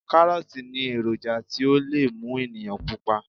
Kárọ́ọ̀tì ní èròjà tí ó lè mú ènìyàn pupa